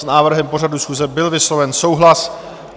S návrhem pořadu schůze byl vysloven souhlas.